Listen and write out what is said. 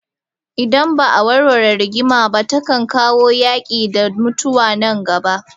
Idan ba a warware rigima ba takan kawo yaki da mutuwa nan gaba.